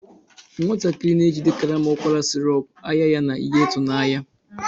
Nwatakịrị na-ejide karama ụkwara sirop, anya ya na ihe ịtụnanya.